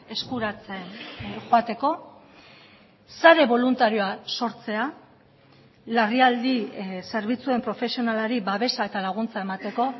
eskuratzen joateko sare boluntarioa sortzea larrialdi zerbitzuen profesionalari babesa eta laguntza emateko